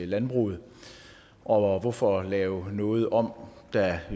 landbruget og hvorfor lave noget om der